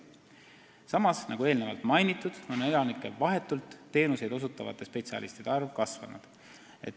Samas, nagu enne mainitud, on elanikele vahetult teenuseid osutavate spetsialistide arv kasvanud.